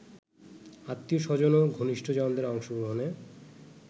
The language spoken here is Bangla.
আত্মীয়-স্বজন ও ঘনিষ্ঠজনদের অংশগ্রহণে